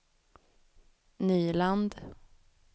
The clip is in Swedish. Nyland